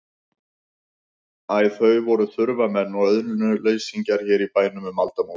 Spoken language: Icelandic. Æ, þau voru þurfamenn og auðnuleysingjar hér í bænum um aldamót.